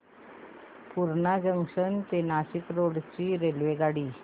Purna junction ते Nashik road ची रेल्वेगाडी